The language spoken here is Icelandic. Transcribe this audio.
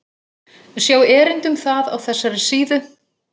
Sjá erindi um það á þessari síðu.